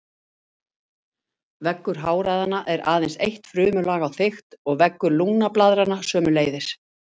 Veggur háræðanna er aðeins eitt frumulag á þykkt og veggur lungnablaðranna sömuleiðis.